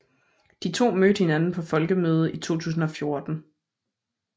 De to mødte hinanden på Folkemødet i 2014